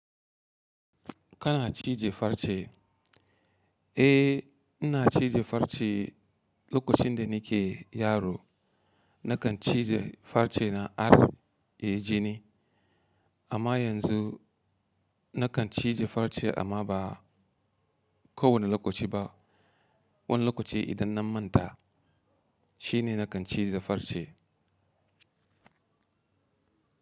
Kana cije farce? Eh, ina cije farce. Eh lokacin da nike yaro nakan cije farce na ar, ya yi ji ni. Amma yanzu nakan cije farce amma ba kowane lokaci ba. Wani lokaci idan na manta shine nakan cije farce.